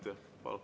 Palun!